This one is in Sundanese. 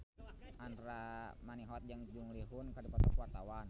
Andra Manihot jeung Jung Ji Hoon keur dipoto ku wartawan